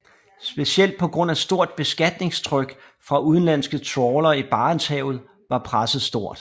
Specielt på grund af stort beskatningstryk fra udenlandske trawlere i Barentshavet var presset stort